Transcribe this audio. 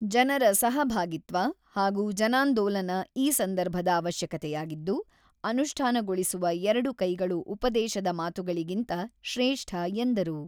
ಜನರ ಸಹಭಾಗಿತ್ವ ಹಾಗೂ ಜನಾಂದೋಲನ ಈ ಸಂದರ್ಭದ ಅವಶ್ಯಕತೆಯಾಗಿದ್ದು, ಅನುಷ್ಠಾನಗೊಳಿಸುವ ಎರಡು ಕೈಗಳು ಉಪದೇಶದ ಮಾತುಗಳಿಗಿಂತ ಶ್ರೇಷ್ಠ ಎಂದರು.